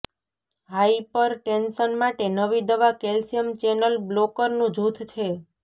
hypertension માટે નવી દવા કેલ્શિયમ ચેનલ બ્લોકરનું જૂથ છે